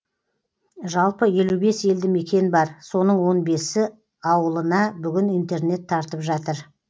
жалпы елу бес елді мекен бар соның он бесі ауылына бүгін интернет тартып жатыр